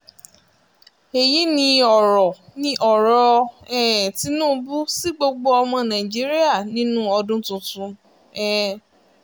èyí ni ọ̀rọ̀ ni ọ̀rọ̀ um tinubu sí gbogbo ọmọ nàìjíríà nínú ọdún tuntun um